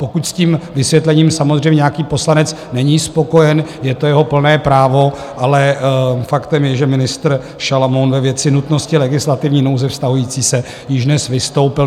Pokud s tím vysvětlením samozřejmě nějaký poslanec není spokojen, je to jeho plné právo, ale faktem je, že ministr Šalamoun ve věci nutnosti legislativní nouze vztahující se již dnes vystoupil.